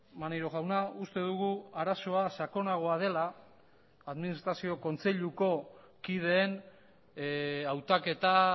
maneiro jauna uste dugu arazoa sakonagoa dela administrazio kontseiluko kideen hautaketa